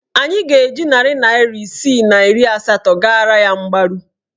Anyị ga-eji narị naịra isii na iri asatọ gara ya mgbaru.